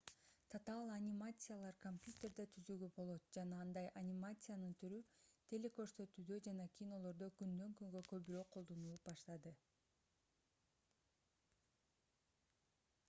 татаал анимациялар компьютерде түзүүгө болот жана андай анимациянын түрү телекөрсөтүүдө жана кинолордо күндөн-күнгө көбүрөөк колдонулуп баштады